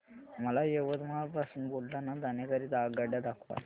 मला यवतमाळ पासून बुलढाणा जाण्या करीता आगगाड्या दाखवा